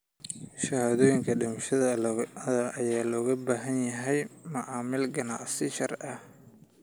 Shahaadooyinka dhimashada ayaa looga baahan yahay macaamil ganacsi oo sharci ah.